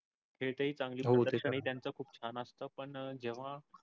त्याचं खूप छान अस्त पण जेव्हा.